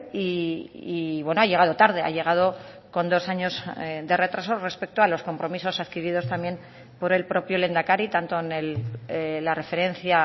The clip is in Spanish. y ha llegado tarde ha llegado con dos años de retraso respecto a los compromisos adquiridos también por el propio lehendakari tanto en la referencia